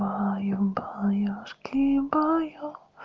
баю-баюшки-баю